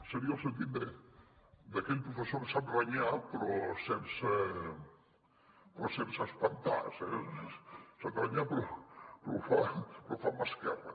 seria el sentit d’aquell professor que sap renyar però sense espantar sap renyar però ho fa amb mà esquerra